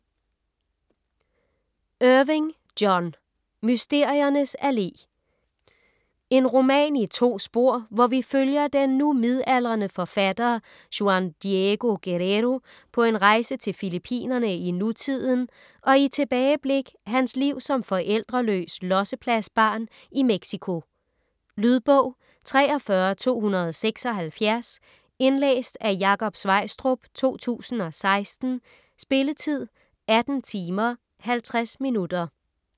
Irving, John: Mysteriernes Allé En roman i to spor, hvor vi følger den nu midaldrende forfatter Juan Diego Guerrero på en rejse til Fillippinerne i nutiden og i tilbageblik hans liv som forældreløs "lossepladsbarn" i Mexico. Lydbog 43276 Indlæst af Jakob Sveistrup, 2016. Spilletid: 18 timer, 50 minutter.